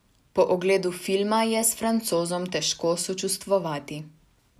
Po ogledu filma je s Francozom težko sočustvovati.